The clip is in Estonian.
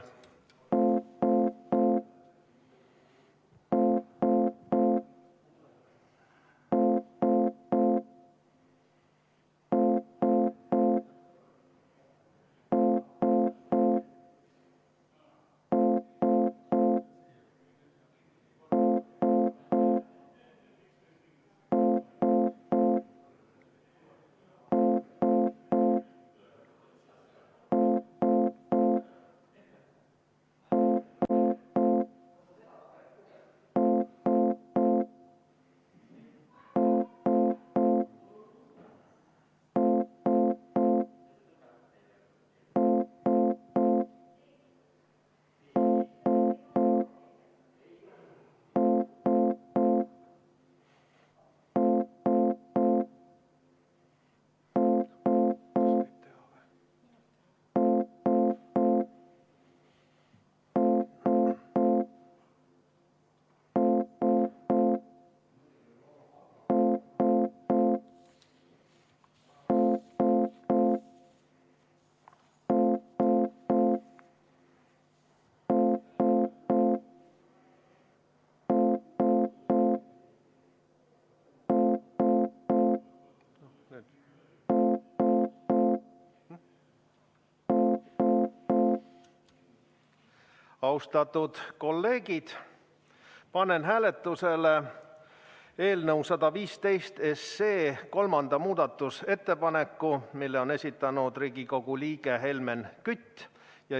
Austatud kolleegid, panen hääletusele eelnõu 115 kolmanda muudatusettepaneku, mille on esitanud Riigikogu liige Helmen Kütt.